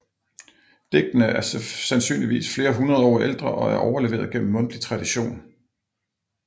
Digtene er sandsynligvis flere hundrede år ældre og er overleveret gennem mundtlig tradition